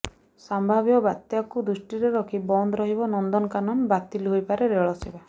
ସମ୍ଭାବ୍ୟ ବାତ୍ୟାକୁ ଦୃଷ୍ଟିରେ ରଖି ବନ୍ଦ ରହିବ ନନ୍ଦନକାନନ ବାତିଲ୍ ହୋଇପାରେ ରେଳ ସେବା